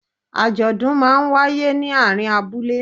Àjọ̀dún máa ń wáyé ní àárín abúlé.